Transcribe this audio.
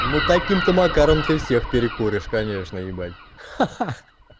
ну таким то макаром ты всех перекуришь конечно ебать